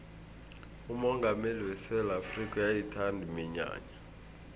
umongameli wesewula afrikha uyayithanda iminyanya